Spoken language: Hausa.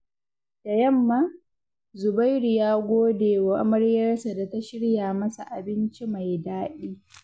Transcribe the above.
Da yamma, Zubairu ya gode wa amaryarsa da ta shirya masa abinci mai daɗi.